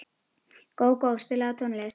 Gógó, spilaðu tónlist.